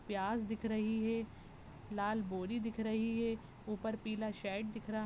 प्याज दिख रही है लाल बोरी दिख रही है ऊपर पीला शेड दिख रहा--